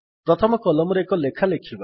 ପ୍ରଥମ କଲମରେ ଏକ ଲେଖା ଲେଖିବା